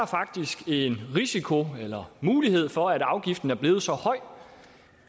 faktisk en risiko eller mulighed for at en afgift er blevet så høj